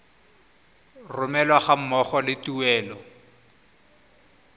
romelwa ga mmogo le tuelo